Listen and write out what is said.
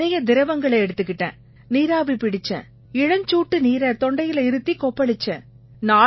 நிறைய திரவங்களை எடுத்துக்கிட்டேன் நீராவி பிடிச்சேன் இளஞ்சூட்டு நீரை தொண்டையில இருத்திக் கொப்பளிச்சேன்